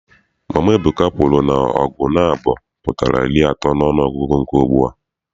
Mama Ebuka kwuru na ọgụ naabọ pụtara iri atọ n'ọnụọgụgụ nke ugbua.